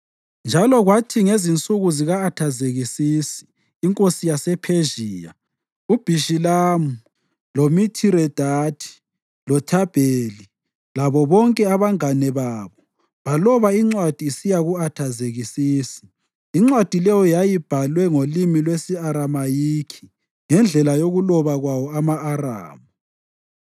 Njalo kwathi ngezinsuku zika-Athazekisisi inkosi yasePhezhiya uBhishilamu, loMithiredathi loThabheli labo bonke abangane babo baloba incwadi isiya ku-Athazekisisi. Incwadi leyo yayibhalwe ngolimi lwesi-Aramayikhi ngendlela yokuloba kwawo ama-Aramu.